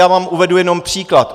Já vám uvedu jenom příklad.